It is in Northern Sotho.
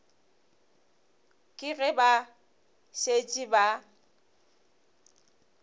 ke ge ba šetše ba